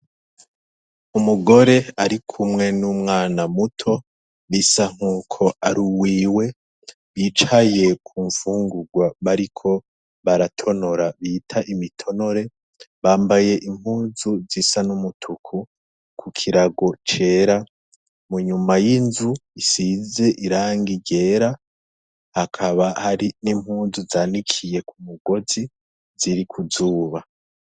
Umugore ari kumwe n'umwana muto bisa nk'uko ari uwiwe bicaye ku mfungurwa bariko baratonora bita imitonore bambaye impuzu zisa n'umutuku, ku kirago cera inyuma y'inzu isize irangi ryera hakaba hari n'impunzu zanikiye ku mugozi ziri kuzuba.